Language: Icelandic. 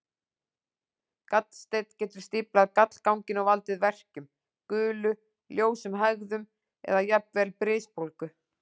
Gallsteinn getur stíflað gallganginn og valdið verkjum, gulu, ljósum hægðum eða jafnvel brisbólgu.